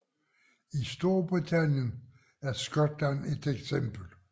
I Storbritannien er Skotland et eksempel